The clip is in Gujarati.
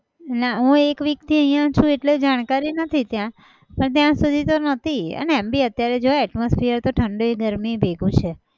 નાં હું એક week થી અહિયાં છુ એટલે જાણકારી નથી ત્યાં. પણ ત્યાં સુધી તો ન હતી અને એમ બી અત્યારે જો atmosphere તો ઠંડી ગરમી ભેગું છે.